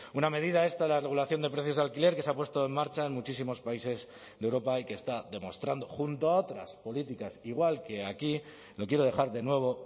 una medida esta la regulación de precios de alquiler que se ha puesto en marcha en muchísimos países de europa y que está demostrando junto a otras políticas igual que aquí lo quiero dejar de nuevo